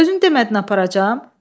Özün demədin aparacam?